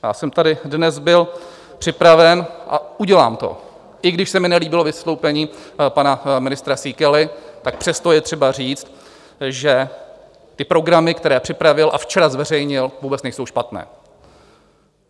Já jsem tady dnes byl připraven, a udělám to, i když se mi nelíbilo vystoupení pana ministra Síkely, tak přesto je třeba říct, že ty programy, které připravil a včera zveřejnil, vůbec nejsou špatné.